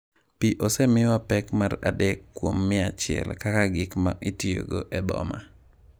Pi osemiwa pek mar 3 kuom mia achiel kaka gik ma itiyogo e boma.